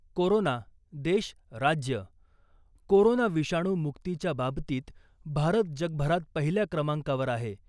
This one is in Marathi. कोरोना देश, राज्य, कोरोना विषाणू मुक्तीच्या बाबतीत भारत जगभरात पहिल्या क्रमांकावर आहे .